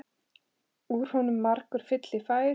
Úr honum margur fylli fær.